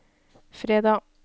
fredag